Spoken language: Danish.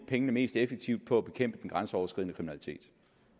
pengene mest effektivt på at bekæmpe den grænseoverskridende kriminalitet